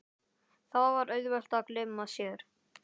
Þá var auðvelt að gleyma sér.